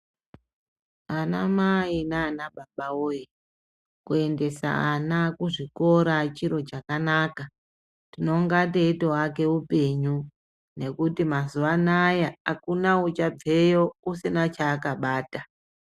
Anamai naanababa woyee, kuendesa ana kuzvikora chiro chakanaka. Tinonga teitoake upenyu ,nekuti mazuwa anaya akuna uchabveyo usina cheakabata.